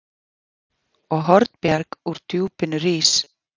Og Hornbjarg úr djúpinu rís